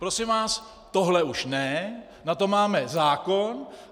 Prosím vás, tohle už ne, na to máme zákon...